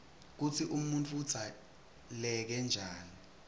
kutsi umuntfu udzaleke njani